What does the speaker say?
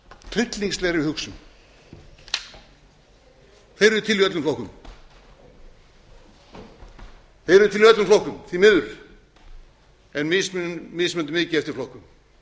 þeir eru til í öllum flokkum þeir eru til í öllum flokkum því miður en mismunandi mikið eftir